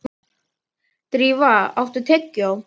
Drífa, áttu tyggjó?